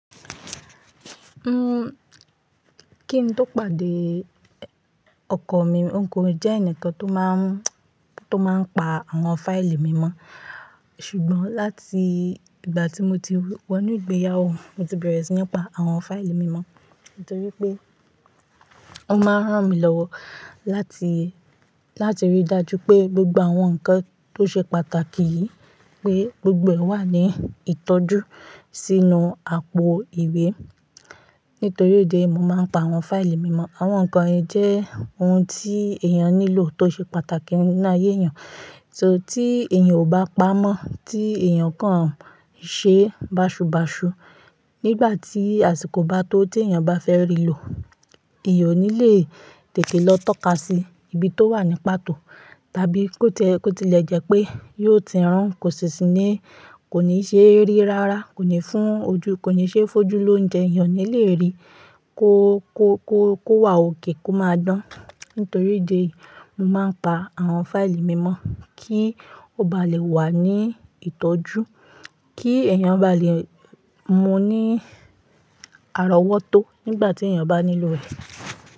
Uhm, kí n tó pàdé~ ọkọ mi n ko jẹ́ ẹnìkan tó máa ń, tó máa ń pa àwọn fáìlì mi mọ́, Ṣùgbọ́n láti ìgbà tí mo ti wọ inú ìgbéyàwó, mo ti bẹ̀rẹ̀ sí ní pa àwọn fáìlì mi mọ́. Nítorí pé ó máa ń ràn mí lọ́wọ́ láti, láti rí i dájú pé gbogbo àwọn nǹkan tó ṣe pàtàkì yìí pé gbogbo ẹ̀ wà ní ìtọ́jú sínú àpò ìwé. Nítorí idi eyi, mo máa ń pa àwọn fáìlì mi mọ́. Àwọn nǹkan yen jẹ́ ohun tí èèyàn nílò tó ṣe pàtàkì nínú ayé èèyàn. So, Tí èèyàn ò bá pamọ́, tí èèyàn kan ṣe báṣubàṣu, nígbà tí àsìkò bá tó tí èèyàn bá fẹ́ rí i lò, ìyọ́ ní lè tètè lọ tọ́ka sí ibi tó wà ní pàtó. Tàbí kó ti e, ko tilẹ̀ jẹ́ pé yóò ti rún, kò sì ní, kò ní ṣe rí rárá, kò ní fún ojú, kò ní ṣe fójú lóúnjẹ, èèyàn ò ní lè rí. Kó, kó, kó, kó wà okay, kó máa dán. Nítorí idi eyi, mo máa ń pa àwọn fáìlì mi mọ́ kí ó bá lè wà ní ìtọ́jú, kí èèyàn bá lè mú ní àrọ́wọ́tó nígbà tí èèyàn bá nílò rẹ̀.